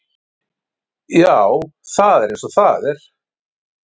Já, það er eins og það er.